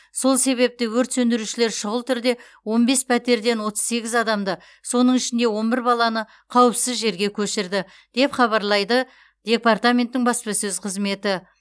сол себепті өрт сөндірушілер шұғыл түрде он бес пәтерден отыз сегіз адамды соның ішінде он бір баланы қауіпсіз жерге көшірді деп хабарлайды департаменттің баспасөз қызметі